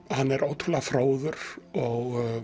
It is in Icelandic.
hann er ótrúlega fróður og